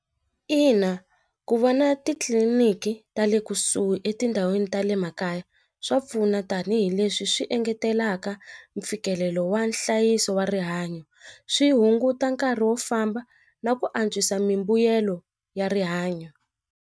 Ina ku vona titliliniki ta le kusuhi etindhawini ta le makaya swa pfuna tanihileswi swi engetelaka mfikelelo wa nhlayiso wa rihanyo swi hunguta nkarhi wo famba na ku antswisa mimbuyelo ya rihanyo.